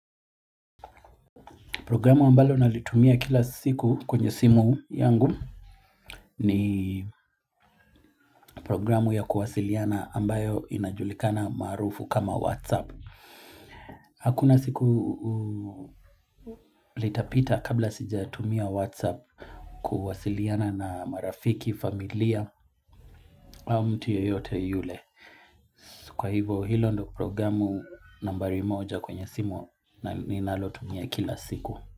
Programu ambalo nalitumia kila siku kwenye simu yangu ni programu ya kuwasiliana ambayo inajulikana maarufu kama Whatsapp. Hakuna siku litapita kabla sija tumia Whatsapp kuwasiliana na marafiki, familia au mtu yeyote yule. Kwa hivo hilo ndo programu nambari moja kwenye simu ninalotumia kila siku.